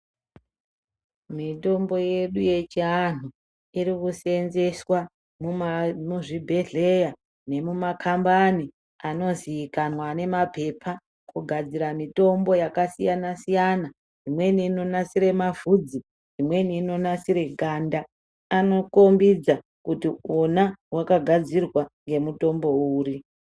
Mitombo yedu yechiantu irikuseenzeswa muzvibhedhleya nemumakambani anozikanwa ane mapepa kugadzira mitombo yakasiyana siyana imweni inonasire mavhudzi imweni inonasire ganda, anokombidza kuti wona wakagadzirwa ngemutombo uri.